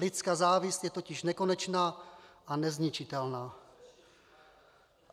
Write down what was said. Lidská závist je totiž nekonečná a nezničitelná.